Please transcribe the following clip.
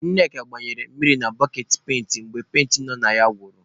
Ṅneka gbanyere mmiri na boketị penti mgbe penti nọ na ya gwụrụ.